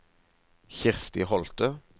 Kirsti Holthe